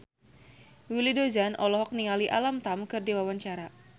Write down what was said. Willy Dozan olohok ningali Alam Tam keur diwawancara